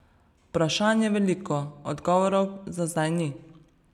Vprašanj je veliko, odgovorov za zdaj ni.